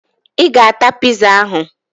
Ị ga-ata piza ahụ!